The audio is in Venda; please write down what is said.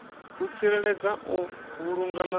u tsireledza u vhulunga na